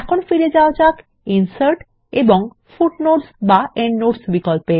এখন ফিরে যাওয়া যাক ইনসার্ট এবং ফুটনোটস এন্ডনোটস বিকল্প এ